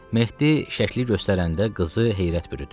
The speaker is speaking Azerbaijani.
Mehdi şəkli göstərəndə qızı heyrət bürüdü.